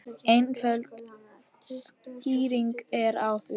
Einföld skýring er á því.